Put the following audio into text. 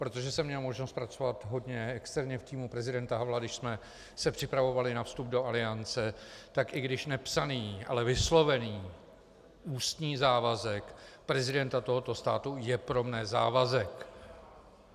Protože jsem měl možnost pracovat hodně externě v týmu prezidenta Havla, když jsme se připravovali na vstup do Aliance, tak i když nepsaný, ale vyslovený ústní závazek prezidenta tohoto státu je pro mne závazek.